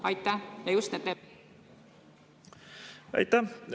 Aitäh!